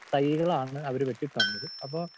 speaker 2 തൈകളാണ് അവര് വെട്ടി തന്നത് അപ്പം